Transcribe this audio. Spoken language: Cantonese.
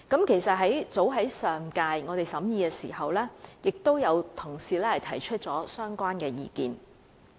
其實，早於上屆立法會審議《條例草案》時，已有同事提出相關的意見。